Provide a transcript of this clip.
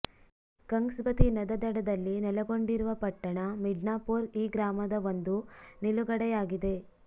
ಕಂಗ್ಸಬತಿ ನದಿ ದಡದಲ್ಲಿ ನೆಲೆಗೊಂಡಿರುವ ಪಟ್ಟಣ ಮಿಡ್ನಾಪೋರ್ ಈ ಮಾರ್ಗದ ಒಂದು ನಿಲುಗಡೆಯಾಗಿದೆ